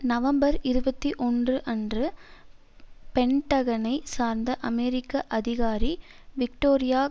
November இருபத்தி ஒன்பது அன்று பென்டகனை சார்ந்த அமெரிக்க அதிகாரி விக்டோரியா